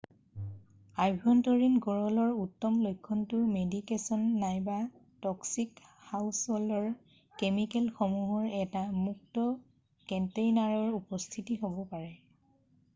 আভ্যন্তৰীণ গৰলৰ উত্তম লক্ষণটো মেডিকেছন নাইবা ট'ক্সিক হাউছহ'ল্ড কেমিকেলসমূহৰ এটা মুক্ত কন্টেইনাৰৰ উপস্থিতি হ'ব পাৰে৷